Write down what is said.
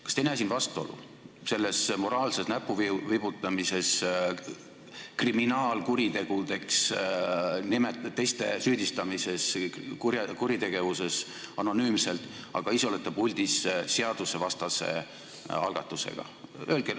Kas te ei näe selles moraalses näpuvibutamises vastuolu: süüdistate anonüümselt teisi kriminaalkuritegudes, kuritegevuses, aga ise olete puldis seadusvastase algatusega?